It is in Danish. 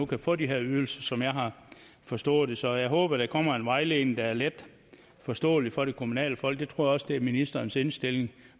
kan få de her ydelser sådan som jeg har forstået det så jeg håber der kommer en vejledning der er let forståelig for de kommunale folk det tror jeg også er ministerens indstilling det